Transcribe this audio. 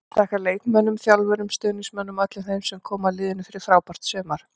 Vill þakka leikmönnum, þjálfurum, stuðningsmönnum og öllum þeim sem koma að liðinu fyrir frábært sumar.